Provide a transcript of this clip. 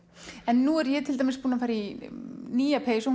en nú er ég til dæmis búin að fara í nýja peysu